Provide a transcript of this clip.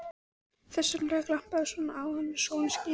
Þess vegna glampaði svona á hana þegar sólin skini.